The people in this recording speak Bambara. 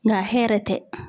Nka hɛrɛ tɛ.